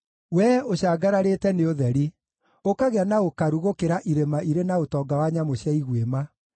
Wee ũcangararĩte nĩ ũtheri, ũkagĩa na ũkaru gũkĩra irĩma irĩ na ũtonga wa nyamũ cia iguĩma.